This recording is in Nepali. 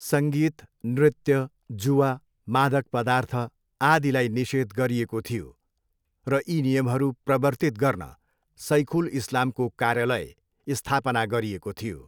सङ्गीत, नृत्य, जुवा, मादक पदार्थ, आदिलाई निषेध गरिएको थियो र यी नियमहरू प्रवर्तित गर्न सैखुल इस्लामको कार्यालय स्थापना गरिएको थियो।